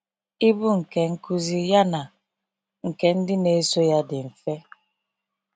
Ibu nke nkuzi ya na nke ndị na eso ya dị mfe.